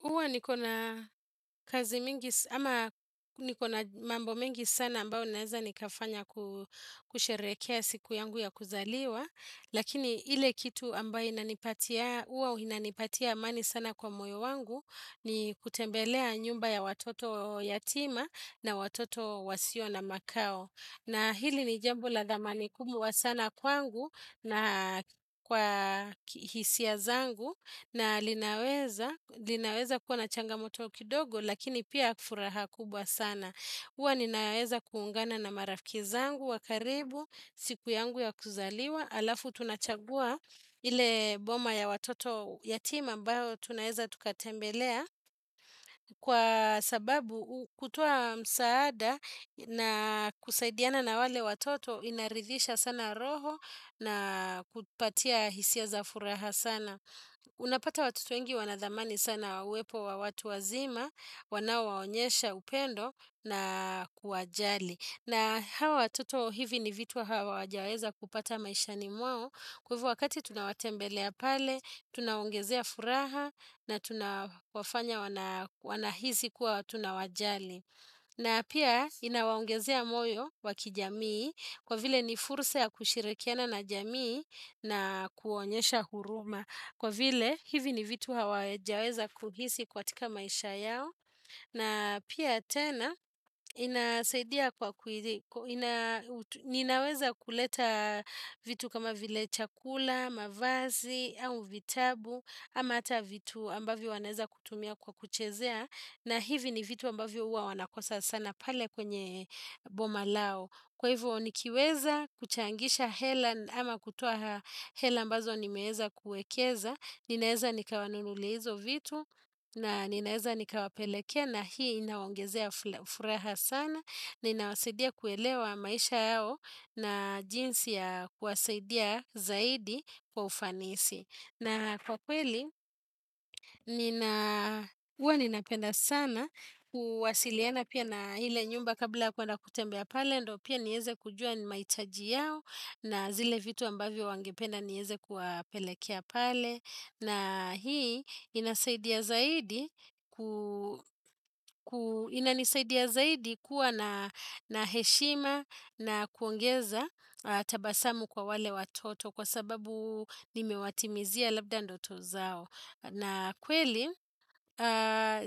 Uwa niko na kazi mingi, ama niko na mambo mingi sana ambayo naeza nikafanya kusherehekea siku yangu ya kuzaliwa, lakini ile kitu ambayo inanipatia amani sana kwa moyo wangu ni kutembelea nyumba ya watoto yatima na watoto wasiona makao. Na hili ni jambo la dhamani kubwa sana kwangu na kwa hisia zangu na linaweza kuwa na changamoto kidogo lakini pia furaha kubwa sana. Uwa ninaweza kuungana na marafiki zangu wa karibu siku yangu ya kuzaliwa. Alafu tunachagua ile boma ya watoto yatima ambayo tunaeza tukatembelea kwa sababu kutoa msaada na kusaidiana na wale watoto inaridhisha sana roho na kupatia hisia za furaha sana. Unapata watoto wengi wanadhamani sana uwepo wa watu wazima, wanaowaonyesha upendo na kuwajali. Na hawa watoto hivi ni vitu hawajaweza kupata maishani mwao Kwa hivo wakati tunawatembelea pale, tunawaongezea furaha na tunawafanya wanahisi kuwa tunawajali. Na pia inawaongezea moyo wa kijamii kwa vile ni fursa ya kushirikiana na jamii na kuonyesha huruma. Kwa vile hivi ni vitu hawaejaeza kuhisi katika maisha yao. Na pia tena, ninaweza kuleta vitu kama vile chakula, mavazi, au vitabu, ama hata vitu ambavyo wanaeza kutumia kwa kuchezea, na hivi ni vitu ambavyo huwa wanakosa sana pale kwenye boma lao. Kwa hivyo nikiweza kuchangisha hela ama kutoa hela ambazo nimeeza kuekeza, ninaeza nikawanunulia hizo vitu na ninaeza nika wapelekea na hii inawaongezea furaha sana, ni inawasidia kuelewa maisha yao na jinsi ya kuwasidia zaidi kwa ufanisi. Na kwa kweli, nina, huwa ninapenda sana, kuwasiliana pia na ile nyumba kabla kwenda kutembea pale, ndo pia nieze kujua ni maitaji yao, na zile vitu ambavyo wangependa nieze kuwa pelekea pale, na hii inasaidia zaidi kuwa na heshima na kuongeza tabasamu kwa wale watoto, kwa sababu nimewatimizia labda ndoto zao. Na kweli,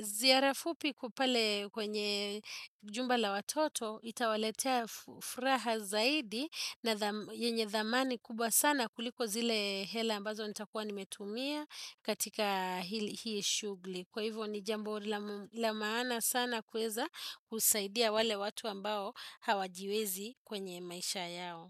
ziarafupi kupale kwenye jumbala watoto itawaletea furaha zaidi na yenye dhamani kubwa sana kuliko zile hela ambazo nitakuwa nimetumia katika hili shugli. Kwa hivyo ni jambo la maana sana kuweza kusaidia wale watu ambao hawajiwezi kwenye maisha yao.